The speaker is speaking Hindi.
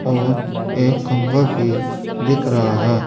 और एक खंबा भी दिख रहा है।